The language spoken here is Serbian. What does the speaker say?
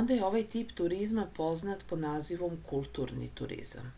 onda je ovaj tip turizma poznat pod nazivom kulturni turizam